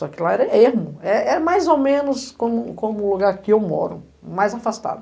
Só que lá era ermo, é é mais ou menos como como o lugar que eu moro, mais afastado.